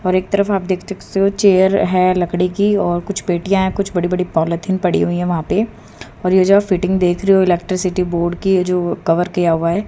और एक तरफ आप देख सकते हो चेयर है लकड़ी की और कुछ पेटियां कुछ बड़ी बड़ी पॉलिथीन पड़ी हुई है वहां पर और यह जो फिटिंग देख रहे हो इलेक्ट्रिसिटी बोर्ड की जो कर किया हुआ है।